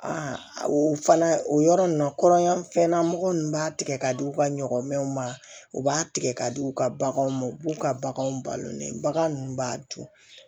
o fana o yɔrɔ ninnu na kɔrɔnyan fɛn na mɔgɔ ninnu b'a tigɛ ka di u ka ɲɔgɔmɛnw ma u b'a tigɛ ka di u ka baganw ma u b'u ka baganw balo ne bagan ninnu b'a dun